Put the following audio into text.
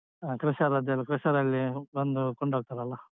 ಹ crusher ಅದೆಲ್ಲ crusher ರಲ್ಲಿ ಬಂದು ಕೊಂಡೋಗ್ತಾರಲ್ಲ.